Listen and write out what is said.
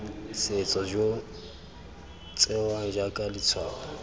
setso jo tsewang jaaka letshwao